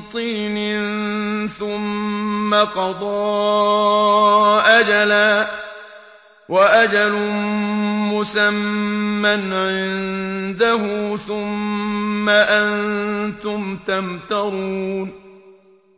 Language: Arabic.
طِينٍ ثُمَّ قَضَىٰ أَجَلًا ۖ وَأَجَلٌ مُّسَمًّى عِندَهُ ۖ ثُمَّ أَنتُمْ تَمْتَرُونَ